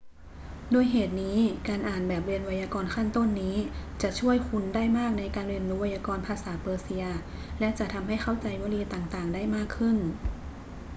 ด้วยเหตุนี้ การอ่านแบบเรียนไวยากรณ์ขั้นต้นนี้จะช่วยคุณได้มากในการเรียนรู้ไวยากรณ์ภาษาเปอร์เซีย และจะทำให้เข้าใจวลีต่าง ๆ ได้มากขึ้น